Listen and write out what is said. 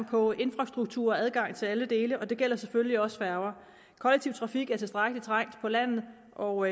på infrastruktur og adgang til alle dele og det gælder selvfølgelig også færger kollektiv trafik er trængt på landet og